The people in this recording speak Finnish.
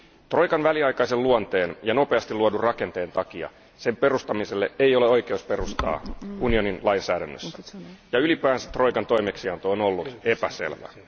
Troikan väliaikaisen luonteen ja nopeasti luodun rakenteen takia sen perustamiselle ei ole oikeusperustaa unionin lainsäädännössä ja ylipäänsä troikan toimeksianto on ollut epäselvää.